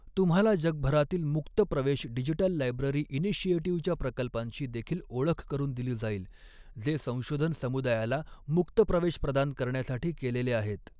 तुम्हाला जगभरातील मुक्त प्रवेश डिजिटल लायब्ररी इनिशिएटिव्हच्या प्रकल्पांशी देखील ओळख करुन दिली जाईल जे संशोधन समुदायाला मुक्त प्रवेश प्रदान करण्यासाठी कॆलेले आहेत.